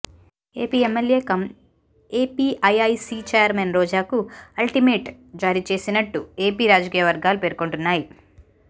AP MLA cum APIIC chairman రోజాకు ultimate జారీ చేసినట్టు ఏపీ రాజకీయ వర్గాలు పేర్కొంటున్నాయి